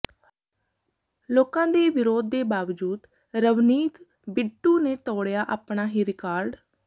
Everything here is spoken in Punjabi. ਲੋਕਾਂ ਦੇ ਵਿਰੋਧ ਦੇ ਬਾਵਜੂਦ ਰਵਨੀਤ ਬਿੱਟੂ ਨੇ ਤੋੜਿਆ ਆਪਣਾ ਹੀ ਰਿਕਾਰਡ